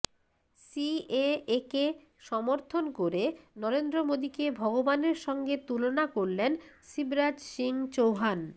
সিএএকে সমর্থন করে নরেন্দ্র মোদীকে ভগবানের সঙ্গে তুলনা করলেন শিবরাজ সিং চৌহান